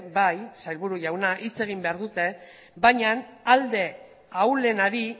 bai sailburu jauna hitz egin behar dute bainan alde ahulenari